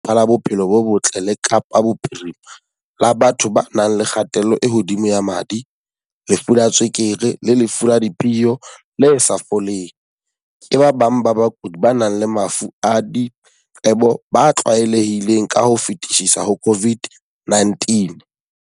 Ho ya ka Lefapha la Bophelo bo Botle la Kapa Bophirime-la, batho ba nang le kgatello e hodimo ya madi, lefu la tswe-kere le lefu la diphio le sa foleng, ke ba bang ba bakudi ba nang le mafu a diqebo ba tlwaelehileng ka ho fetisisa ho COVID-19.